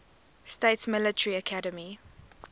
states military academy